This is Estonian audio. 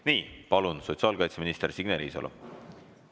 Nii, palun, sotsiaalkaitseminister Signe Riisalo!